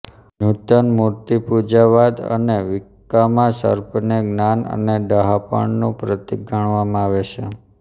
નૂતન મૂર્તિપૂજાવાદ અને વિક્કામાં સર્પને જ્ઞાન અને ડહાપણનું પ્રતિક ગણવામાં આવે છે